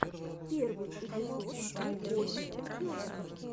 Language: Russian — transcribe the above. первый эпизод коби персин